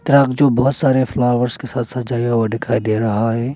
Truck जो बहुत सारे फ्लॉवर्स के साथ सजा हुआ दिखाई दे रहा है।